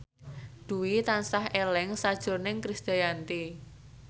Dwi tansah eling sakjroning Krisdayanti